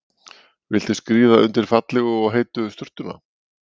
Viltu skríða undir fallegu og heitu sturtuna?